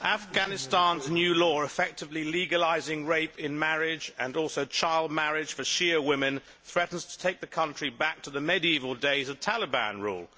Mr President, Afghanistan's new law, effectively legalising rape in marriage and also child marriage for Shia women, threatens to take the country back to the medieval days of Taliban rule.